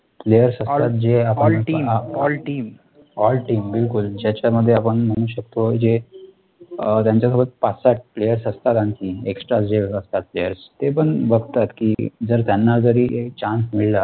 ALL TEAM ALL TEAM all team बिलकुल, ज्याच्यामध्ये आपण म्हणू शकतो जे ज्यांच्यासोबत पाच सात players असतात आणखी extra जे असतात PLAYERS ते पण बघतात कि जर त्यांना जरी हे, chance मिळाला,